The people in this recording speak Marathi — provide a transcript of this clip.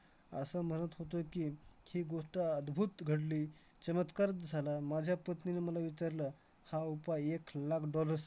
असं म्हणत होतो की, ही गोष्ट अद्भुत घडली, चमत्कारच झाला. माझ्या पत्नीने मला विचारलं, हा उपाय एक लाख dollars